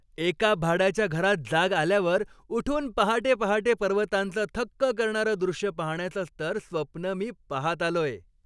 एका भाड्याच्या घरात जाग आल्यावर उठून पहाटे पहाटे पर्वतांचं थक्क करणारं दृश्य पाहण्याचंच तर स्वप्न मी पाहत आलोय.